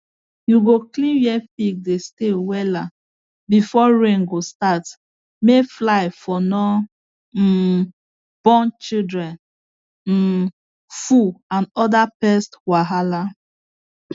you go clean where pigs dey stay wella before rain go start may fly for no um born children um full and other pest wahala